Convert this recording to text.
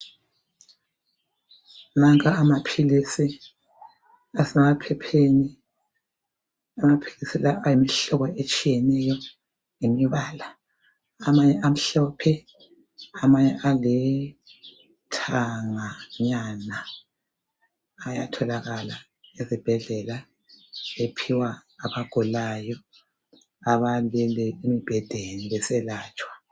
Wonke amaphilisi asemaphepheni amaphilisi la ayimihlobo etshiyeneyo ngemibala amanye amhlophe amanye alithanga nyana ayatholakala ezibhedlela ephiwa abagulayo abalele embhedeni beselatshwa